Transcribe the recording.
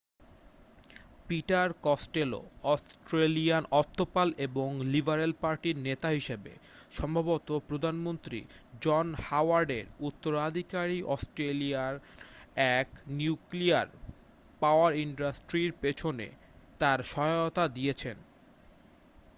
Peter Costello অস্ট্রেলিয়ার অর্থপাল এবং লিবারেল পার্টি-র নেতা হিসাবে সম্ভবত প্রধানমন্ত্রী জন হাওয়ার্ড এর উত্তরাধিকারী অস্ট্রেলিয়ার এক নিউক্লিয়ার পাওয়ার ইনডাস্ট্রির পিছনে তার সহায়তা দিয়েছেন